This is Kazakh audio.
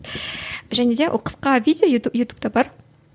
және де ол қысқа видео ютуб ютубта бар